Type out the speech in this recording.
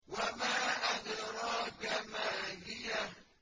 وَمَا أَدْرَاكَ مَا هِيَهْ